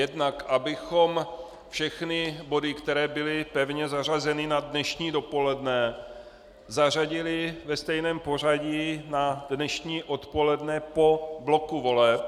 Jednak abychom všechny body, které byly pevně zařazeny na dnešní dopoledne, zařadili ve stejném pořadí na dnešní odpoledne po bloku voleb.